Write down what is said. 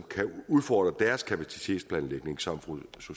kan udfordre deres kapacitetsplanlægning som fru